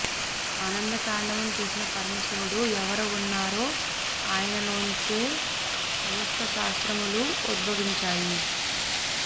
ఆనంద తాండవం చేసిన పరమశివుడు ఎవరు ఉన్నారో ఆయనలోంచే సమస్త శాస్త్రములు ఉద్భవించాయి